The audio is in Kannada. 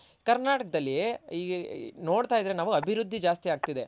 ಕರ್ನಾಟಕದಲ್ಲಿ ಈಗ್ ನೋಡ್ತಾ ಇದ್ರೆ ನಾವು ಅಭಿವೃದ್ದಿ ಜಾಸ್ತಿ ಆಗ್ತಿದೆ